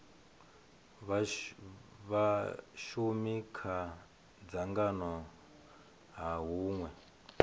vhashumi kha dzangano ha hunwe